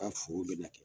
Ka foro bɛna kɛ